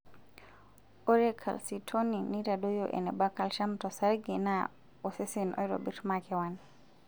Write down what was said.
Ore calcitonin naitadoyio eneba calcium tosarge naa osesen oitobirr makewan.